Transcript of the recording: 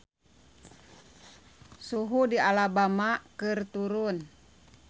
Suhu di Alabama keur turun